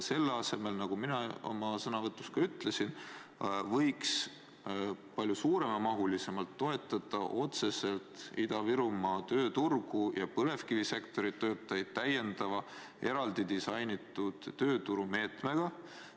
Selle asemel, nagu ma oma sõnavõtus ütlesin, võiks palju suuremas mahus toetada otseselt Ida-Virumaa tööturgu ja põlevkivisektori töötajaid täiendava eraldi disainitud tööturumeetmega.